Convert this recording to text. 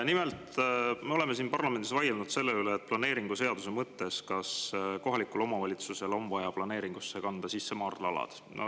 Nimelt, me oleme siin parlamendis vaielnud selle üle, kas planeeringuseaduse mõttes on kohalikul omavalitsusel vaja planeeringusse kanda sisse maardlaalad.